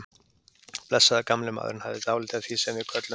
Blessaður gamli maðurinn hafði dálítið af því sem við köllum